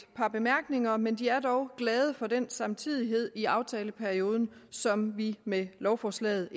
par bemærkninger men de er dog glade for den samtidighed i aftaleperioden som vi med lovforslaget